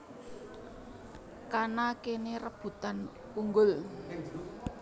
Kana kene rebutan unggul